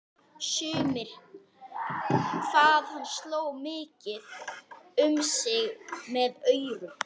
Sumir hvað hann sló mikið um sig með aurum.